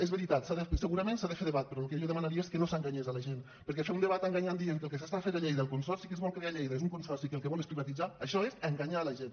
és veritat segurament s’ha de fer debat però el que jo demanaria és que no s’enganyés la gent perquè fer un debat enganyant dient que el que s’està fent a lleida el consorci que es vol crear a lleida és un consorci que el que vol és privatitzar això és enganyar la gent